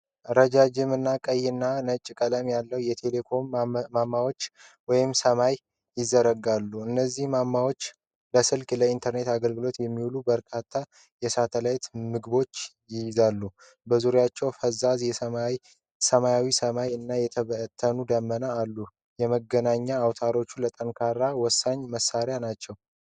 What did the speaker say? ረጃጅምና ቀይና ነጭ ቀለም ያላቸው የቴሌኮምኒኬሽን ማማዎች ወደ ሰማይ ይዘረጋሉ። እነዚህ መዋቅሮች ለስልክና ለኢንተርኔት አገልግሎት የሚውሉ በርካታ የሳተላይት ምግቦችን ይይዛሉ። በዙሪያቸው ፈዛዛ ሰማያዊ ሰማይ እና የተበተኑ ደመናዎች አሉ። የመገናኛ አውታሮችን ለማጠናከር ወሳኝ መሣሪያዎች ናቸው።